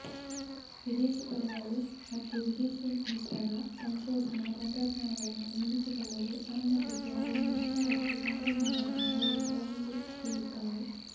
ವಿದೇಶಿ ಪಡೆಗಳು ಮತ್ತು ವಿದೇಶಿ ಮಿತ್ರರ ಸಂಶೋಧನಾ ತಂತ್ರಜ್ಞಾನಗಳನ್ನು ನೇಮಿಸಿಕೊಳ್ಳಲು ಅನುಮತಿಸುವ ಒಂದು ಹೊಸ ರಫ್ತು ಸಂಪನ್ಮೂಲವನ್ನೂ ಅವರು ಒಳಗೊಳ್ಳುತ್ತಾರೆ